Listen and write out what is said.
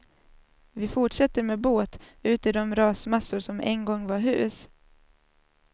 Vi fortsätter med båt, ut i de rasmassor som en gång var hus.